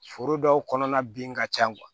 Foro dɔw kɔnɔna bin ka ca